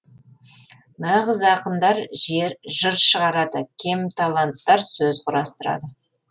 нағыз ақындар жыр шығарады кемталанттар сөз құрастырады